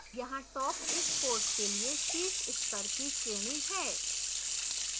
यहाँ top इस course के लिए शीर्ष स्तर की श्रेणी है